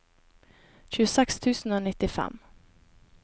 tjueseks tusen og nittifem